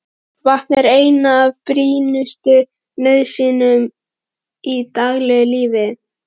Vatn er ein af brýnustu nauðsynjum í daglegu lífi.